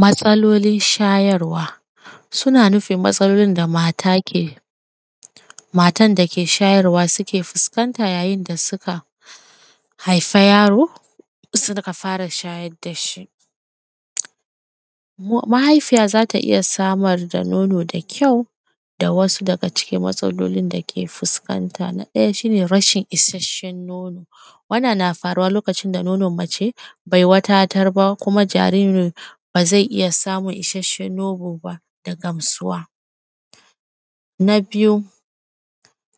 Matsalolin shayarwa. Suna nufin matsalolin da mata ke; matan da ke shayarwa sike fiskanta yayin da sika haifa yaro, sika fara shayad da shi. Mahaifiya za ta iya samar da nono da kyau, da wasu daga cikin matsalolin da ke fiskanta. Na ɗaya, shi ne rashin isasshen nono, wannan na faruwa lokacin da nonon mace bai wadatar ba kuma jaririn ba ze iya samun isasshen nono ba da gamsuwa. Na biyu,